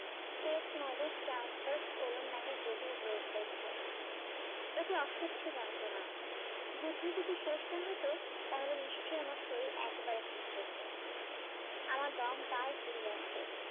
নামে জটিল রোগ হয়েছে এতে অসয্য যন্ত্রনা যুদ্ধ যদি শেষ না হতো তাহলে নিশ্চই আমার শরীর একেবারে ভেঙে যেত আমার দম প্রায় ফুরিয়ে আসে